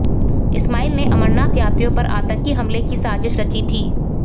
इस्माइल ने अमरनाथ यात्रियों पर आतंकी हमले की साजिश रची थी